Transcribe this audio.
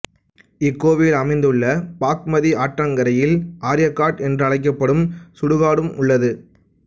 இக்கோவில் அமைந்துள்ள பாக்மதி ஆற்றங்கரையில் ஆர்ய காட் என்றழைக்கப்படும் சுடுகாடும் உள்ளது